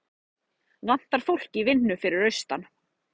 Vantar fólk í vinnu fyrir austan